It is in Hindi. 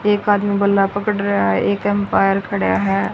एक आदमी बल्ला पकड़ रहा है एक अंपायर खड़ा है।